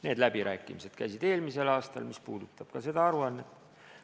Need läbirääkimised käisid eelmisel aastal ja see puudutab ka seda aruannet.